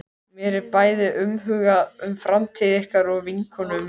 Mér er bæði umhugað um framtíð ykkar og vinkonu minnar.